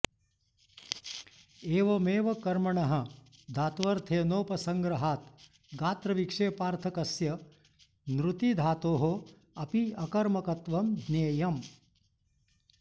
एवमेव कर्मणः धात्वर्थेनोपसङ्ग्रहात् गात्रविक्षेपार्थकस्य नृतीधातोः अपि अकर्मकत्वं ज्ञेयम्